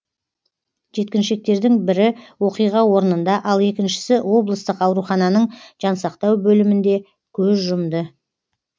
жеткіншектердің бірі оқиға орнында ал екіншісі облыстық аурухананың жансақтау бөлімінде көз жұмды